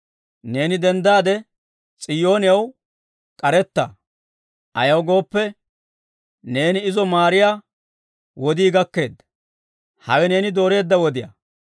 Neeni denddaade, S'iyoonew k'aretta; ayaw gooppe, neeni izo maariyaa wodii gakkeedda; hawe neeni dooreedda wodiyaa.